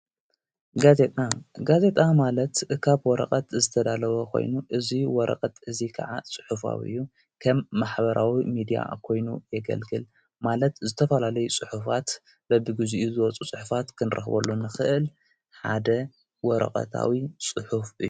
ጋዜጣ ጋዜጣ ማለት ኻብ ወረቐት ዝተዳለዎ ኾይኑ፤ እዙይ ወረቐት እዙይ ከዓ ጽሑፍዊ እዩ። ከም ማኅበራዊ ሚድያ ኾይኑ የገልግል፤ ማለት ዝተፈላለይ ጽሑፋት በብጊዜኡ ዝወፁ ጽሑፋት ክንረኽበሉ ንኽእል ሓደ ወረቐታዊ ጽሑፍ እዩ።